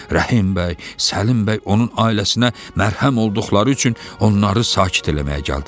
Rəhim bəy, Səlim bəy onun ailəsinə mərhəm olduqları üçün onları sakit eləməyə gəldilər.